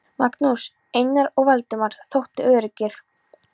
Magnús, Einar og Valdemar þóttu öruggir.